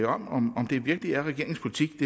om om det virkelig er regeringens politik